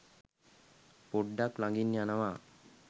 පොඩ්ඩක් ලගින් යනවා